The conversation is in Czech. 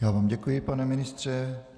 Já vám děkuji, pane ministře.